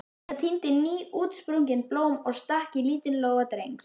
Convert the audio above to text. Frænka tíndi nýútsprungin blóm og stakk í lítinn lófa Drengs.